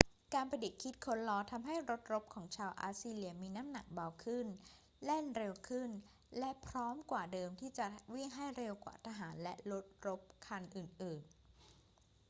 การประดิษฐ์คิดค้นล้อทำให้รถรบของชาวอัสซีเรียมีน้ำหนักเบาขึ้น แล่นเร็วขึ้น และพร้อมกว่าเดิมที่จะวิ่งให้เร็วกว่าทหารและรถรบคันอื่น ๆ